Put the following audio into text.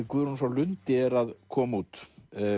Guðrúnu frá Lundi er að koma út